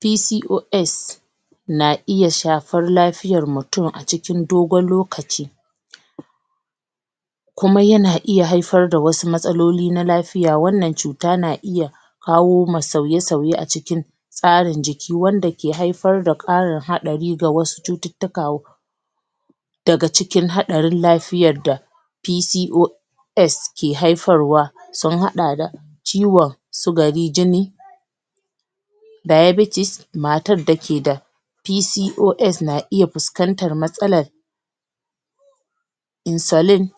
PCOS na iya shafar lafiyan mutum a cikin dogon lokaci kuma yana iya haifar da wasu matsaloli na lafiya, wannan cuta na iya kawo ma sauye-sauye a cikin tsarin jiki wanda ke haifar da ƙarin haɗari ga wasu cututtuka daga cikin haɗarin lafiyar da PCO S ke haifarwa sun haɗa da ciwon sugari jini diabetes matar da ke da PCOS na iya fuskantar matsalar insulin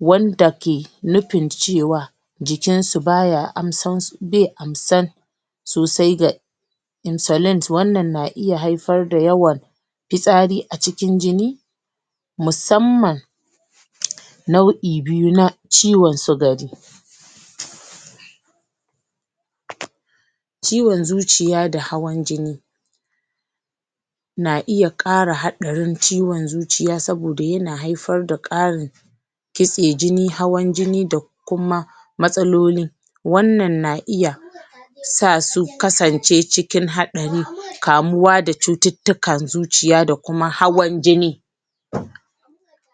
wanda ke nufin cewa jikin su be amsar sosai ga insulin wannan na iya haifar da yawan fitsari a cikin jini musamman nau'i biyu na ciwon sugari ciwon zuciya da hawan jini na iya ƙara haɗarin ciwon zuciya saboda yana haifar da ƙarin ƙitse jini hawan jini da kuma matsaloli wannan na iya sa su kasance cikin haɗarin kamuwa da cututtukan zuciya da kuma hawan jini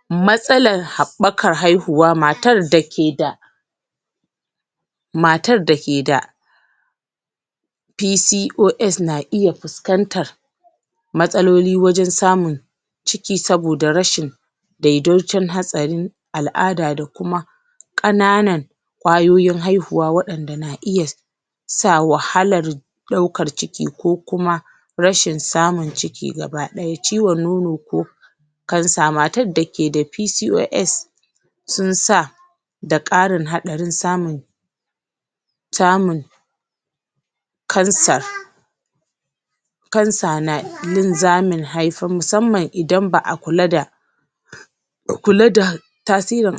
matsalar haɓɓakar haihuwa, matar da ke da matar da ke da PCOS na iya fuskantar matsaloli wajen samun ciki saboda rashin daidocin hatsari al'ada da kuma ƙananan ƙwayoyin haihuwa waɗanda na iya sa wahalar ɗaukar ciki ko kuma rashin samun ciki gaba ɗaya ciwon nono ko cancer, matar da ke da PCOS sun sa da ƙarin haɗarin samun samun cancer cancer na musamman idan ba'a kula da kula da tasirin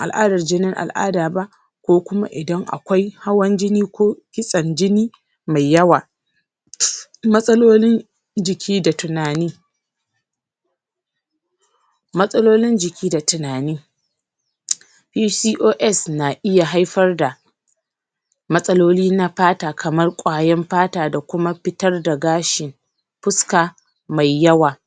jinin al'ada ba ko kuma idan akwai hawan jini ko kitsen jini me yawa matsalolin jiki da tunani matsalolin jiki da tunani PCOS na iya haifar da matsaloli na fata kamar ƙwayan fata da kuma fitar da gashi fuska mai yawa